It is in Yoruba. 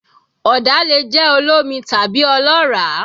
Ọ̀dà lè jẹ́ olómi tàbí ọlọ́ràá